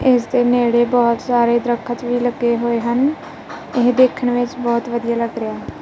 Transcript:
ਇਸ ਦੇ ਨੇੜੇ ਬਹੁਤ ਸਾਰੇ ਦਰਖਤ ਵੀ ਲੱਗੇ ਹੋਏ ਹਨ ਇਹ ਦੇਖਣ ਵਿੱਚ ਬਹੁਤ ਵਧੀਆ ਲੱਗ ਰਿਹਾ--